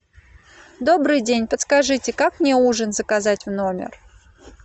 добрый день подскажите как мне ужин заказать в номер